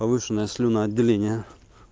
повышенное слюноотделение